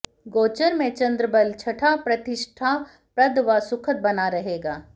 गोचर में चंद्रबल छठा प्रतिष्ठाप्रद व सुखद बना रहेगा